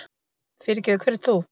Fyrirgefðu, hver ert þú?